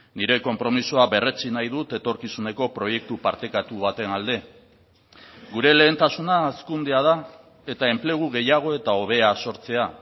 nire konpromisoa berretsi nahi dut etorkizuneko proiektu partekatu baten alde gure lehentasuna hazkundea da eta enplegu gehiago eta hobea sortzea